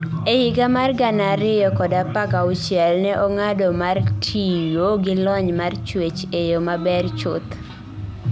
E higa mar 2016, ne ong'ado mar tiyo gi lony mar chuech e yo maber chuth.